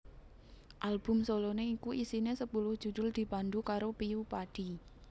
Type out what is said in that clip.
Album soloné iku isine sepuluh judhul dipandu karo Piyu Padi